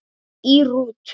Í rútu